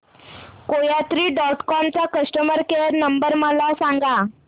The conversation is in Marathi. कोयात्री डॉट कॉम चा कस्टमर केअर नंबर मला सांगा